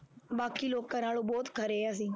ਬਾਕੀ ਲੋਕਾਂ ਨਾਲੋਂ ਬਹੁਤ ਖਰੇ ਹਾਂ ਅਸੀਂ।